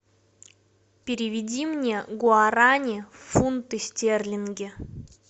переведи мне гуарани в фунты стерлинги